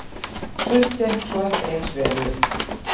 Sumt gekk svo ekki eins vel upp.